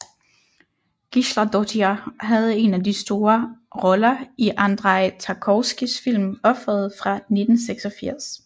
Gísladóttir havde en af de store roller i Andrej Tarkovskijs film Offeret fra 1986